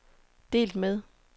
delt med